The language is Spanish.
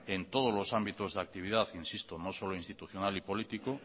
en todos los ámbitos de actividad insisto no solo institucional y políticos